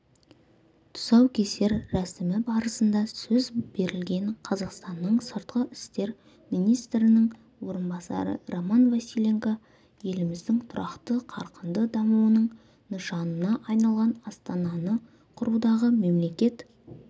тұсаукесер рәсімі барысында сөз берілген қазақстанның сыртқы істер министрінің орынбасары роман василенко еліміздің тұрақты қарқынды дамуының нышанына айналған астананы құрудағы мемлекет